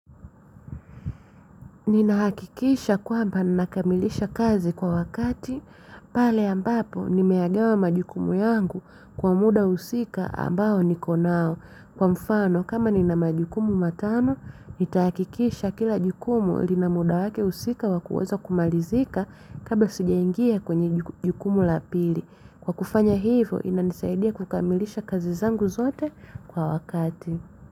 Ninaakikisha kwamba nakamilisha kazi kwa wakati, pale ambapo nimeyagawa majukumu yangu kwa muda usika ambao niko nao. Kwa mfano, kama nina majukumu matano, nitakikisha kila jukumu lina muda wake usika wakuweza kumalizika kabla sijaingia kwenye jukumu la pili. Kwa kufanya hivo inanisaidia kukamilisha kazi zangu zote kwa wakati.